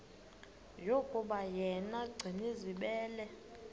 yokuba yena gcinizibele